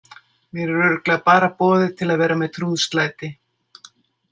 Mér er örugglega bara boðið til að vera með trúðslæti.